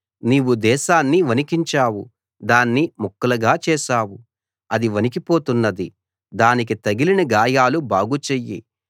నీవు దేశాన్ని వణికించావు దాన్ని ముక్కలుగా చేశావు అది వణికిపోతున్నది దానికి తగిలిన గాయాలు బాగు చెయ్యి